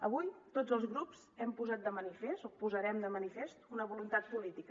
avui tots els grups hem posat de manifest o posarem de manifest una voluntat política